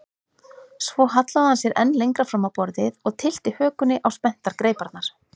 Svo hallaði hann sér enn lengra fram á borðið og tyllti hökunni á spenntar greiparnar.